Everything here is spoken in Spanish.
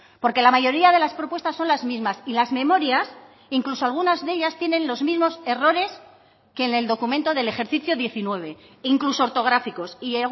porque la mayoría de las propuestas son las mismas y las memorias incluso algunas de ellas tienen los mismos errores que en el documento del ejercicio diecinueve incluso ortográficos y